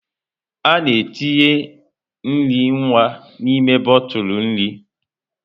A na-etinye nri nwa n'ime bọtụlụ nri.